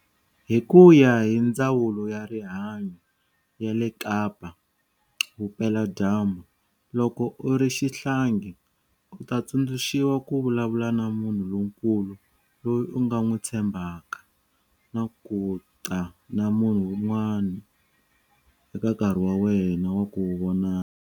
Hi ku ya hi Ndzawulo ya Rihanyo ya le Kapa Vupeladyambu, loko u ri xihlangi, u ta tsundzuxiwa ku vulavula na munhu lonkulu loyi u nga n'wi tshembaka na ku ta na munhu un'wana eka nkarhi wa wena wa ku vonana.